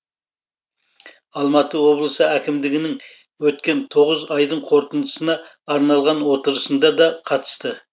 алматы облысы әкімдігінің өткен тоғыз айдың қорытындысына арналған отырысында да қатысты